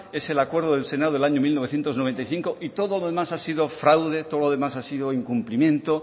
es el acuerdo del senado del año de mil novecientos noventa y cinco y todo lo demás ha sido fraude todo lo demás ha sido incumplimiento